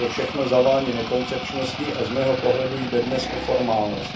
To všechno zavání nekoncepčností a z mého pohledu jde dnes o formálnost.